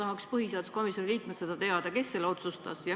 Ma tahaks põhiseaduskomisjoni liikmena teada, kes selle otsustas?